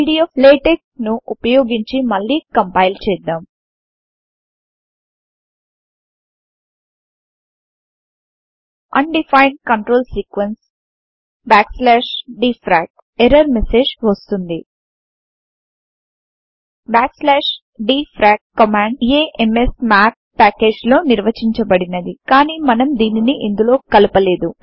pdflatex ను ఉపయోగించి మళ్లీ కంపైల్ చేద్దాం undefined control sequence dfrac error message వస్తుంది dfrac కమాండ్ ఆమ్స్మాత్ ప్యాకేజ్ లో నిర్వచించబడినదికాని మనం దీనిని ఇందులో కలుపలేదు